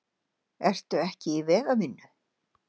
Ertu ekki í vegavinnu?